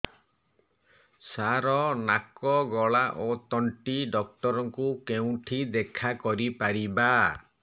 ସାର ନାକ ଗଳା ଓ ତଣ୍ଟି ଡକ୍ଟର ଙ୍କୁ କେଉଁଠି ଦେଖା କରିପାରିବା